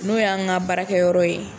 N'o y'an ka baarakɛyɔrɔ ye